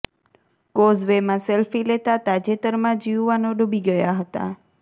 કોઝવેમાં selfie લેતાં તાજેતરમાં જ યુવાનો ડુબી ગયાં હતા